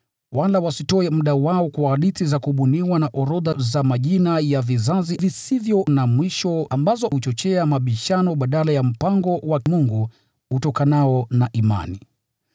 wala wasitoe muda wao kwa hadithi za kubuniwa na orodha za majina ya vizazi visivyo na mwisho, ambazo huchochea mabishano badala ya mpango wa Mungu utokanao na imani.